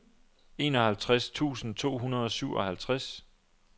enoghalvtreds tusind to hundrede og syvoghalvtreds